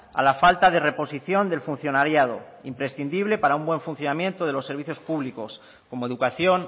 a la falta de reposición del funcionariado imprescindible para un buen funcionamiento de los servicios públicos como educación